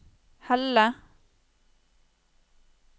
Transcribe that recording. Helle